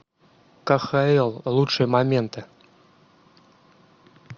кхл лучшие моменты